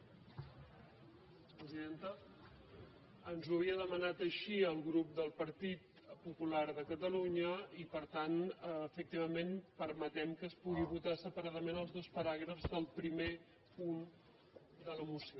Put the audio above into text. presidenta ens ho havia demanat així el grup del partit popular de catalunya i per tant efectivament permetem que es puguin votar separadament els dos paràgrafs del primer punt de la moció